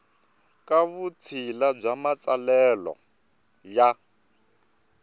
ka vutshila bya matsalelo ya